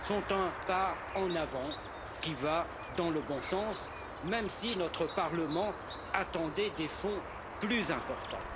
sont un pas en avant qui va dans le bon sens, même si notre Parlement attendait des fonds plus importants.